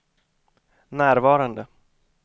närvarande